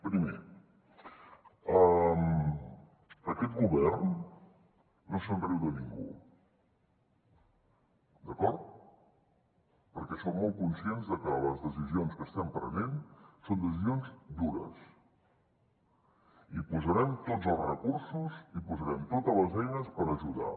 primer aquest govern no se’n riu de ningú d’acord perquè som molt conscients de que les decisions que estem prenent són decisions dures i posarem tots els recursos i posarem totes les eines per ajudar